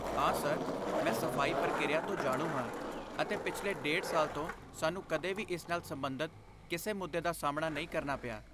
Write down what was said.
ਹਾਂ ਸਰ, ਮੈਂ ਸਫ਼ਾਈ ਪ੍ਰਕਿਰਿਆ ਤੋਂ ਜਾਣੂ ਹਾਂ ਅਤੇ ਪਿਛਲੇ ਡੇਢ ਸਾਲ ਤੋਂ, ਸਾਨੂੰ ਕਦੇ ਵੀ ਇਸ ਨਾਲ ਸਬੰਧਤ ਕਿਸੇ ਮੁੱਦੇ ਦਾ ਸਾਹਮਣਾ ਨਹੀਂ ਕਰਨਾ ਪਿਆ